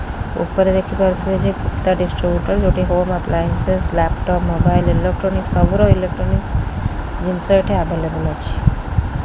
ଉପରେ ଦେଖିପାରୁଥିବେ ଯେ ଗୁପ୍ତା ଡିଷ୍ଟ୍ରିବୁଟୋର୍ ଯୋଉଁଟା କି home appliances laptop mobile electronics ର ସବୁ ର ଇଲେକ୍ଟ୍ରୋନିକସ୍ ଜିନିଷ ଏଠି ଆଭାଇଲବ୍ଲେ ଅଛି।